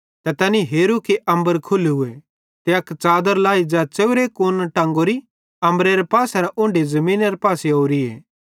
ते तैनी हेरू कि अम्बर खुल्लूए ते अक च़ादर लाई ज़ै च़ेव्रे कूना टेंगोरी अम्बरेरे पासेरां उन्ढी ज़मीनरे पासे ओरी